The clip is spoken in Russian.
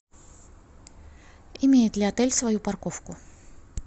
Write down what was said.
имеет ли отель свою парковку